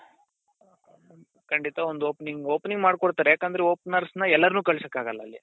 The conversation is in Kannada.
ಖಂಡಿತ ಒಂದು opening opening ಮಡ್ಕೋಡ್ತಾರೆ ಯಾಕಂದ್ರೆ openers ನ ಎಲ್ಲರನ್ನು ಕಳಿಸೋಕೆ ಆಗಲ್ಲ ಅಲ್ಲಿ